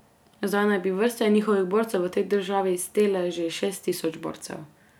Zdaj naj bi vrste njihovih borcev v tej državi stele že šest tisoč borcev.